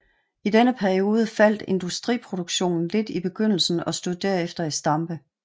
I denne periode faldt industriproduktionen lidt i begyndelsen og stod derefter i stampe